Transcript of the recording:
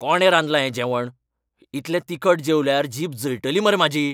कोणें रांदलां हें जेवण? इतलें तिखट जेवल्यार जीब जळटली मरे म्हाजी.